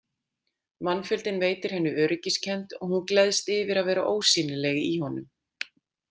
Mannfjöldinn veitir henni öryggiskennd og hún gleðst yfir að vera ósýnileg í honum.